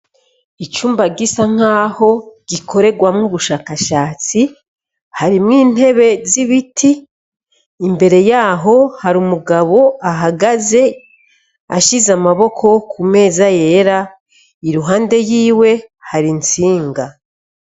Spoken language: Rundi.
Icumba gisa nkaho gikorerwamwo ubushakashatsi harimwo intebe zi biti imbere yaho hari umugabo ahagaze ashize amaboko ku meza yera iruhande yiwe hari intsinga